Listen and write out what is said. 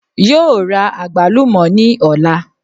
Yóò ra àgbálùmò ní òla